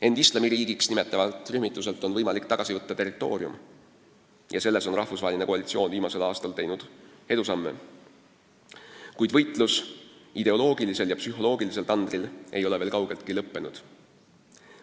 End Islamiriigiks nimetavalt organisatsioonilt on võimalik tagasi võtta territoorium – ja selles on rahvusvaheline koalitsioon viimasel aastal teinud edusamme –, kuid võitlus ideoloogilisel ja psühholoogilisel tandril ei ole veel kaugeltki lõppenud.